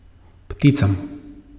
Pticam.